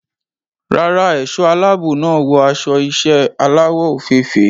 Rárá, ẹ̀ṣọ́ aláàbò náà wọ aṣọ iṣẹ́ aláwọ̀ òfeèfèé.